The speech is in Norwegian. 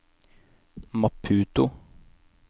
Maputo